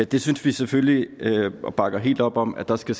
det synes vi selvfølgelig er forkert og bakker helt op om at der skal